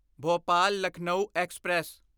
Bhopal Lucknow express